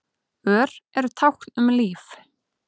Ör eru tákn um líf.